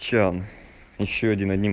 че он ещё один аним